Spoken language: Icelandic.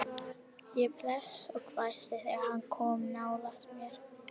Ég blés og hvæsti þegar hann kom nálægt mér.